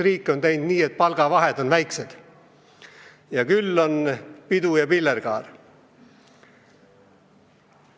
Riik on teinud nii, et palgavahed on väiksed, küll on pidu ja pillerkaar.